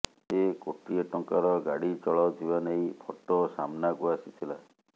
ସେ କୋଟିଏ ଟଙ୍କାର ଗାଡି ଚଲାଉଥିବା ନେଇ ଫଟୋ ସାମ୍ନାକୁ ଆସିଥିଲା